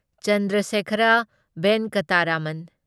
Chandrasekhara Venkata Raman